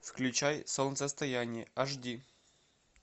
включай солнцестояние аш ди